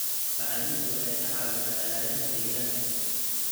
Bacriminta waxay ka caawisaa ilaalinta deegaanka.